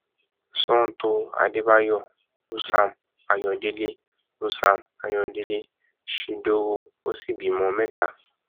sọtò àdébàyò usam ayọdẹlẹ usam ayọdẹlẹ shindowo ó sì bímọ mẹta